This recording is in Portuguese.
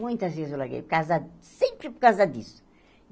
Muitas vezes eu larguei, por causa sempre por causa disso.